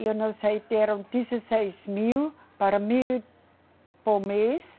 E eu não sei, deram dezesseis mil para mil por mês.